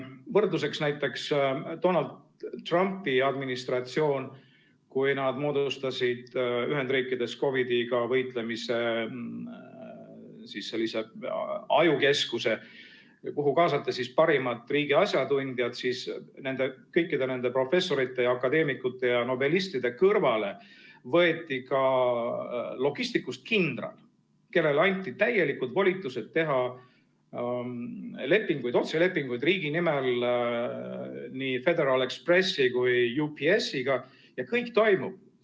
Võrdluseks näiteks Donald Trumpi administratsioon, kui nad moodustasid Ühendriikides COVID‑iga võitlemise sellise ajukeskuse, kuhu kaasati parimad riigi asjatundjad, siis kõikide nende professorite ja akadeemikute ja nobelistide kõrvale võeti ka logistikust kindral, kellele anti täielikud volitused teha otselepinguid riigi nimel nii Federal Expressi kui UPS‑iga, ja kõik toimib.